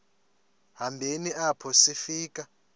hambeni apho sifika